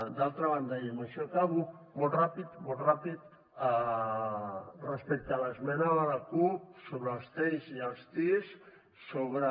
d’altra banda i amb això acabo molt ràpid respecte a l’esmena de la cup sobre els teis i els tis sobre